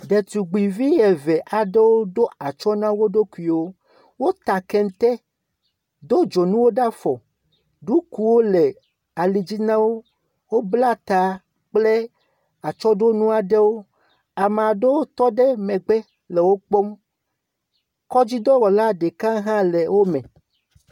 Ɖetugbivi eve aɖewo ɖo atsɔ na wo ɖokuiwo. Wota kente do dzonuwo ɖe afɔ. ɖokuwo le alidzi na o. Wobla ta kple atsɔɖonu aɖewo. Ame aɖewo tɔ ɖe megbe le wokpɔm. Kɔdzidɔwɔla ɖeka hã le wo me.